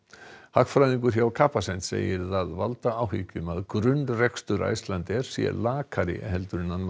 hagfræðingur hjá Capacent segir það valda áhyggjum að grunnrekstur Icelandair sé lakari en